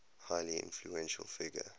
highly influential figure